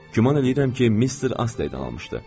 Güman eləyirəm ki, Mister Asley-dən almışdı.